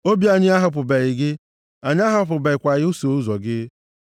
Obi anyị ahapụbeghị gị! Anyị ahapụbekwaghị iso ụzọ gị.